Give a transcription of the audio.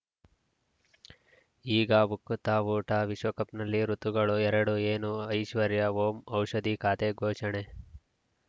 ಈಗ ಉಕುತ ಊಟ ವಿಶ್ವಕಪ್‌ನಲ್ಲಿ ಋತುಗಳು ಎರಡು ಏನು ಐಶ್ವರ್ಯಾ ಓಂ ಔಷಧಿ ಖಾತೆ ಘೋಷಣೆ